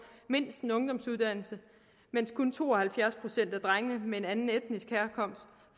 mindst en ungdomsuddannelse mens kun to og halvfjerds procent af drengene med en anden etnisk herkomst